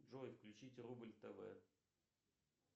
джой включить рубль тв